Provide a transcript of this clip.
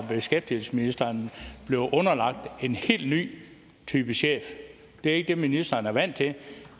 beskæftigelsesministeren bliver underlagt en helt ny type chef det er ikke det ministeren er vant til